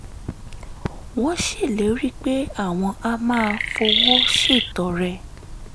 wọ́n ṣèlérí pé àwọn á máa fowó ṣètọrẹ